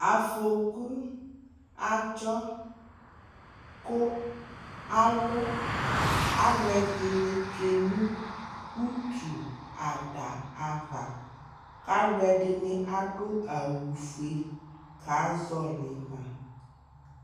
Afoku adzɔ kʋ alu alʋɛdi ni tsue nʋ utu ada ava kʋ alʋɛdi ni adʋ awufue kazɔli ma